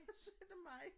Og så er der mig